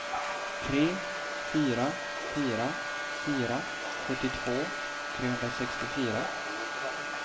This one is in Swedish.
tre fyra fyra fyra sjuttiotvå trehundrasextiofyra